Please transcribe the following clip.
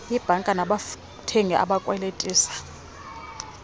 iibhanka nabathengisi abakwelitisa